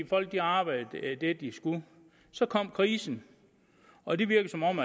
folk arbejdede det de skulle så kom krisen og det virker som om